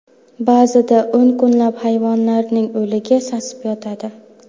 Ba’zida o‘n kunlab hayvonlarning o‘ligi sasib yotadi.